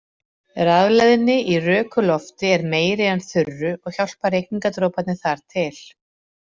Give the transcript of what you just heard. Rafleiðni í röku lofti er meiri en þurru og hjálpa rigningardroparnir þar til.